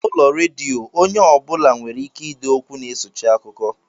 N'ụlọọrụ redio, onye ọ bụla nwereike ide okwu na-esochi akụkọ